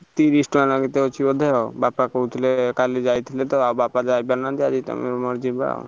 ତିରିଶ ଟଙ୍କା ନାଁ କେତେ ଅଛି ବୋଧେ ଆଉ ବାପା କହୁଥିଲେ କଲି ଯାଇଥିଲେ ଆଉ ଯାଇ ପାରୁନାହାନ୍ତି ତମର ମୋର ଯିବାଆଉ।